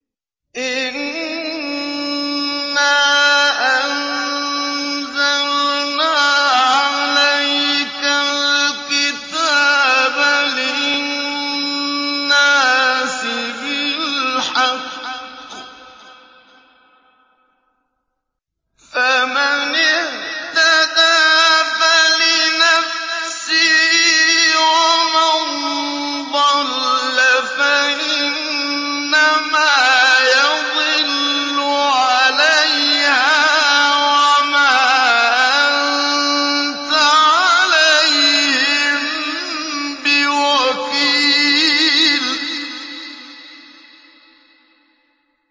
إِنَّا أَنزَلْنَا عَلَيْكَ الْكِتَابَ لِلنَّاسِ بِالْحَقِّ ۖ فَمَنِ اهْتَدَىٰ فَلِنَفْسِهِ ۖ وَمَن ضَلَّ فَإِنَّمَا يَضِلُّ عَلَيْهَا ۖ وَمَا أَنتَ عَلَيْهِم بِوَكِيلٍ